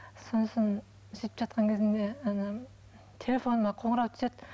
сосын сөйтіп жатқан кезімде ана телефоныма қонырау түседі